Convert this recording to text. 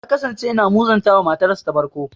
Ya kasance yana muzanta wa matarsa ta farko.